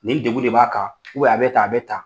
Nin degun de b'a kan a bɛ tan a bɛ tan.